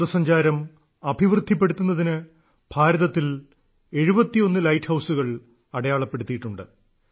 വിനോദസഞ്ചാരം അഭിവൃദ്ധിപ്പെടുത്തുന്നതിന് ഭാരതത്തിൽ 71 ലൈറ്റ് ഹൌസുകൾ അടയാളപ്പെടുത്തിയിട്ടുണ്ട്